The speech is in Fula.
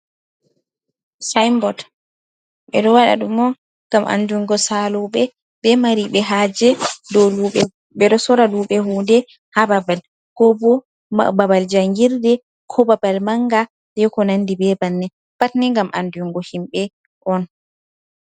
Saainbot, ɓe ɗo waɗa ɗum on ngam andungo saalooɓe, be mariiɓe haaje dow luuɓe, ɓe ɗo soora luuɓe hunde ha babal, ko bo babal jangirde, ko babal manga, e ko nandi be bannii pat ni ngam andungo himɓe on.